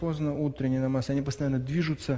поздно утренний намаз они постоянно движутся